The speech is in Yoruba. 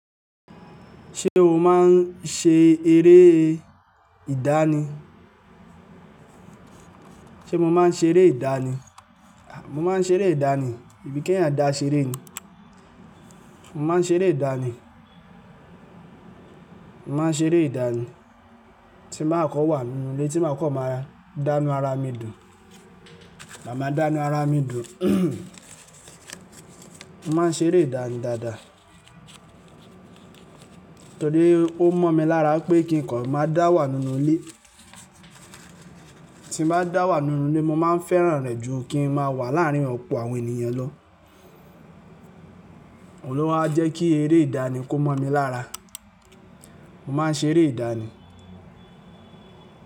Ṣé o máa ń ṣe eré ìdánì? Sé mo máa ń ṣe eré ìdánì? Mo má ń ṣe eré ìdánì, sebi kẹ́yan dàṣẹ eré ni. Mo má ń ṣe eré ìdánì. Mo má ń ṣe eré ìdánì, tí má kọ wà nínú ilé tí má kọ máa dánú ara mi dùn, màá máa dánú ara mi dùn. Mo má ń ṣe eré ìdánì dáadáa torí ó mọ̀ mi lára pé kí n kọ́ máa dà wà nínú ilé. Tí mo bá dà wà nínú ilé, mo má ń fẹ́ràn rẹ̀ ju kí n máa wà láàárín ọ̀pọ̀ àwọn ènìyàn lọ. Olúwa jẹ́ kí eré ìdánì kó mọ̀ mi lára. Mo má ń ṣe eré ìdánì.